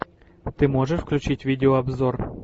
ты можешь включить видеообзор